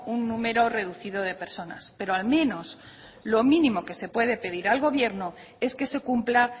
un número reducido de personas pero al menos lo mínimo que se puede pedir al gobierno es que se cumpla